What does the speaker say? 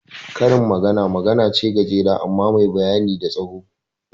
Karin magana magana ce gajera amma da bayani mai tsawo